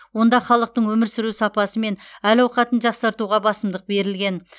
онда халықтың өмір сүру сапасы мен әл ауқатын жақсартуға басымдық берілген